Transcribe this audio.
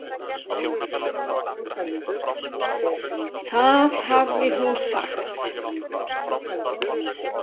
Það hafði hún sagt.